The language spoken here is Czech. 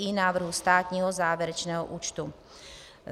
I návrhu státního závěrečného účtu.